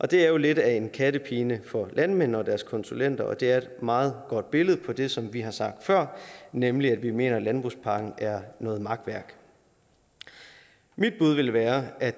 det er jo lidt af en kattepine for landmændene og deres konsulenter og det er et meget godt billede på det som vi har sagt før nemlig at vi mener at landbrugspakken er noget makværk mit bud vil være at